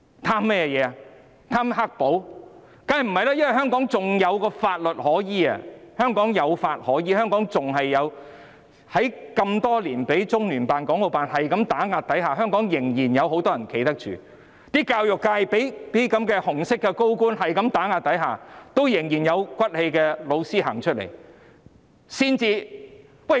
當然不是，因為香港仍有法律可依，即使被中聯辦、港澳辦打壓多年，香港仍然有很多人站得住，例如教育界一直被這些紅色高官打壓，但仍然有些有骨氣的教師走出來。